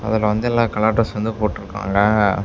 அதுல வந்து எல்லா கலர் ட்ரெஸ் வந்து போட்ருக்காங்க.